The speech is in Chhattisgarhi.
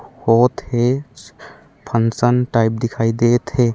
बहोत है फंक्शन टाइप दिखाई देत है।